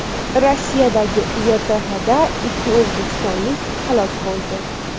Rossiyadagi YTHda ikki o‘zbekistonlik halok bo‘ldi.